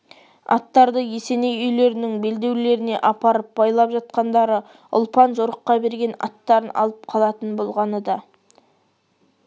аттарды есеней үйлерінің белдеулеріне апарып байлап жатқандары ұлпан жорыққа берген аттарын алып қалатын болғаны да